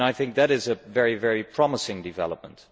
I think that is a very promising development.